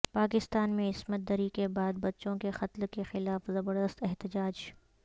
پاکستان میں عصمت دری کے بعد بچوں کے قتل کیخلاف زبردست احتجاج